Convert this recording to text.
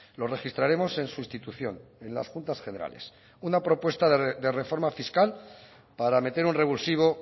lo registraremos en sustitución en las juntas generales una propuesta de reforma fiscal para meter un revulsivo